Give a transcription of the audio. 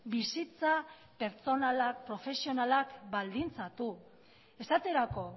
bizitza pertsonalak profesionalak baldintzatu esaterako